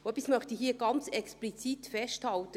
Etwas möchte ich hier ganz explizit festhalten;